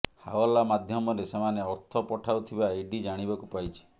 ହାଓ୍ବାଲା ମାଧ୍ୟମରେ ସେମାନେ ଅର୍ଥ ପଠାଉଥିବା ଇଡି ଜାଣିବାକୁ ପାଇଛି